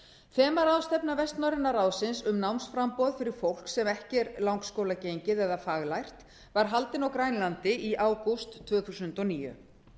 þemaráðstefna vestnorræna ráðsins um námsframboð fyrir fólk sem ekki er langskólagengið eða faglært var haldin á grænlandi í ágúst tvö þúsund og níu